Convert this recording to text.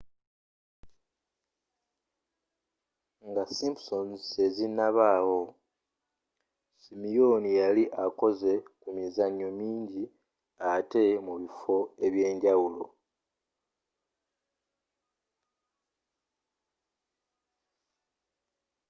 nga simpsons tezinnabaawo simyooni yali akoze ku mizanyo mingi atte mu bifo ebyenjawulo